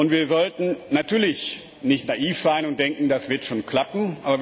Wir sollten natürlich nicht naiv sein und denken, das wird schon klappen.